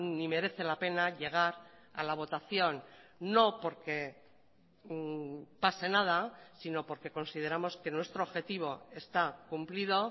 ni merece la pena llegar a la votación no porque pase nada sino porque consideramos que nuestro objetivo está cumplido